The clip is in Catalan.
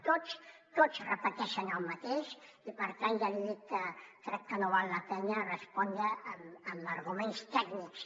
tots tots repeteixen el mateix i per tant ja li dic que crec que no val la pena respondre amb arguments tècnics